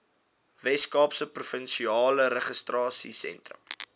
weskaapse provinsiale regeringstenders